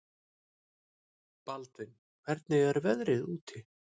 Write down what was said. Baldvin, hvernig er veðrið úti?